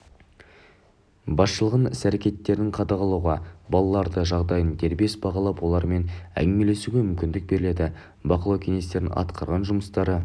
басшылығының іс-әрекеттерін қадағалауға балалардың жағдайын дербес бағалап олармен әңгімелесуге мүмкіндік беріледі бақылау кеңестерінің атқарған жұмыстары